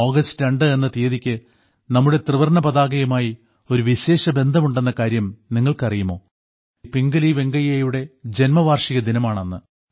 August രണ്ട് എന്ന തീയതിക്ക് നമ്മുടെ ത്രിവർണ്ണ പതാകയുമായി ഒരു വിശേഷബന്ധം ഉണ്ടെന്ന കാര്യം നിങ്ങൾക്കറിയുമോ പിംഗലി വെങ്കയ്യയുടെ ജന്മ വാർഷിക ദിനമാണ് അന്ന്